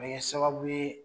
Bɛ kɛ sababu ye